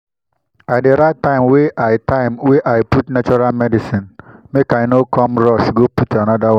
i dey write time wey i time wey i put natural medicine make i no come rush go put anoda one.